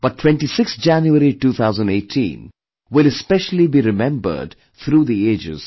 But 26th January, 2018, will especially be remembered through the ages